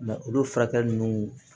olu furakɛli nunnu